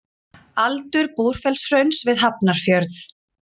Aldur Búrfellshrauns við Hafnarfjörð.